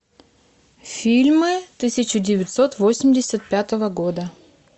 фильмы тысяча девятьсот восемьдесят пятого года